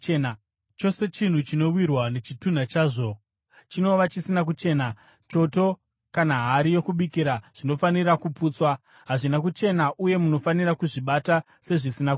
Chose chinhu chinowirwa nechitunha chazvo chinova chisina kuchena; choto kana hari yokubikira zvinofanira kuputswa. Hazvina kuchena uye munofanira kuzvibata sezvisina kuchena.